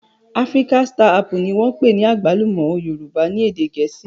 Africa star apple ni wọ́n ń pè àgbálù ọ́ Yorùbá ní èdè Gẹ̀ẹ́sì.